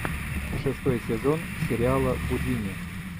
шестой сезон сериала гудини